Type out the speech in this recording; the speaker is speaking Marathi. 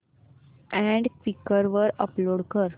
अॅड क्वीकर वर अपलोड कर